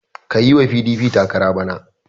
Ka yi wa PDP takara bana!